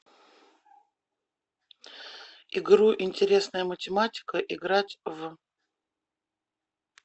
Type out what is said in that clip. игру интересная математика играть в